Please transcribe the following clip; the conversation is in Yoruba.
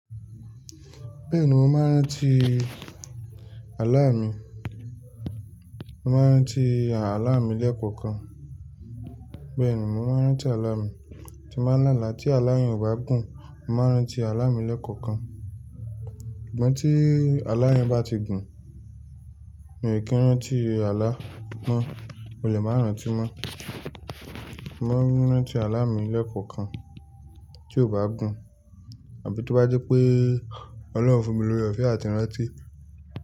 Bẹ́ẹ̀ni mo máa ń rántí àlá mi, mo máa ń rántí àlá mi lẹ́ẹ̀kan kan. Bẹ́ẹ̀ni mo máa ń rántí àlá mi, tí máa ń lála tí aláyen o bá gùn, mo máa ń rántí àlá mi lẹ́ẹ̀kan kan. Ìgbà tí aláyìn bá ti gùn mi ò kí ń rántí àlá mọ́, mo lè máa rántí mọ́. Mo máa ń rántí àlá mi lẹ́ẹ̀kan kan tí ó bá gùn, àbí tó bá jepé Ọlọ́run fún mi lóre òfe àti ìrántí.